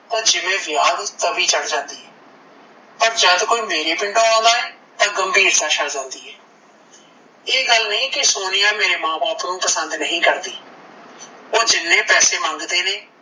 ਤਾਂ ਜਿਵੇਂ ਵਿਆਹ ਤੇ ਤਵੀ ਚੜ ਜਾਂਦੀ ਐ ਪਰ ਜਦੋਂ ਕੋਈ ਮੇਰੇ ਪਿੰਡੋਂ ਆਉਂਦਾ ਏ ਤਾਂ ਗਂਭੀਰ ਹੋ ਜਾਂਦੀ ਐ ਇਹ ਗੱਲ ਨਹੀਂ ਕੀ ਸੋਨੀਆ ਮੇਰੇ ਮਾਂ ਬਾਪ ਨੂੰ ਪਸੰਦ ਨਹੀਂ ਕਰਦੀ ਓਹ ਜਿੰਨੇ ਪੈਸੇ ਮੰਗਦੇ ਨੇ